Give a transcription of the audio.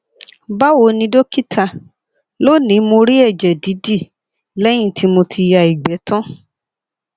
bawo ni dókítà lónìí mo rí ẹjẹ didi lẹyìn tí mo ti ya igbe tan